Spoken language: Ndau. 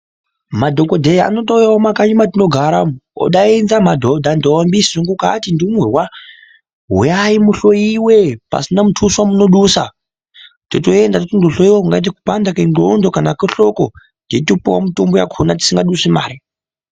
Madhokodheya anotouyawo mumakanyi matinogara umu, odainza madhodha, ndombi, svurukukati, ndumurwa, huyai muhloyiwe pasina mutuso wamunodusa totoenda totonohloyewa kungati kupanda kwenzxondo kana kwehloko, totopiwe mitombo yakona tidingadusi mari.